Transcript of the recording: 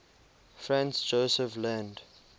franz josef land